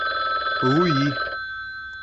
луи